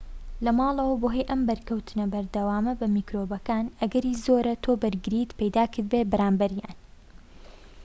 لەماڵەوە بەهۆی ئەم بەرکەوتنە بەردەوامە بە میکرۆبەکان ئەگەری زۆرە تۆ بەرگریت پەیدا کردبێت بەرامبەریان